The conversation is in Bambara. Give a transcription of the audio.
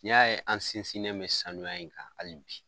N'i y'a ye an sinsininɛ bɛ sanuya in kan hali bi